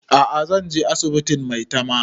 A'a zan je asibitin maitama